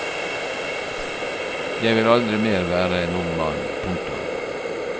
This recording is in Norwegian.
Jeg vil aldri mer være en ung mann. punktum